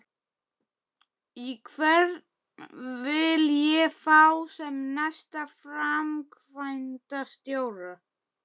Hvern vil ég fá sem næsta framkvæmdastjóra?